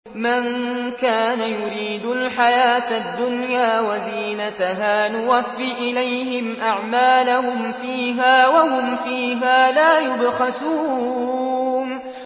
مَن كَانَ يُرِيدُ الْحَيَاةَ الدُّنْيَا وَزِينَتَهَا نُوَفِّ إِلَيْهِمْ أَعْمَالَهُمْ فِيهَا وَهُمْ فِيهَا لَا يُبْخَسُونَ